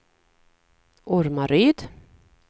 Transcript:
Ormaryd